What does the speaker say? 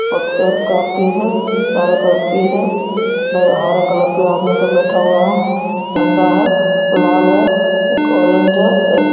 पत्थर का पेड़ है चारो तरफ पेड़ है हरे कलर पे आदमी सब बैठा हुआ है झंडा है। लाल है एक ऑरेंज है एक --